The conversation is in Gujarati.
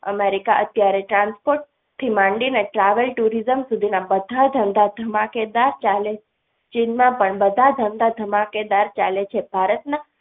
America અત્યારે transport થી માંડીને travels tourism સુધીના બધા ધંધા ધમાકેદાર ચાલે છે ચીનમાં પણ બધા ધંધા ધમાકેદાર ચાલે છે ભારતના